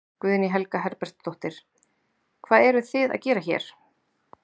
Guðný Helga Herbertsdóttir: Hvað eruð þið að gera hér?